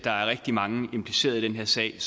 der er rigtig mange implicerede i den her sag